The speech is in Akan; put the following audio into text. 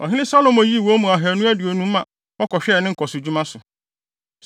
Ɔhene Salomo yii wɔn mu ahannu aduonum ma wɔkɔhwɛɛ ne nkɔsodwuma so.